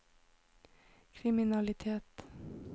kriminalitet